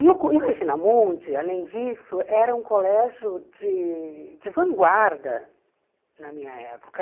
E o co e o Regina Mundi, além disso, era um colégio de de vanguarda na minha época.